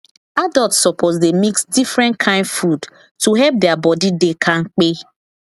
adults suppose dey mix different kain food to help their body dey kampe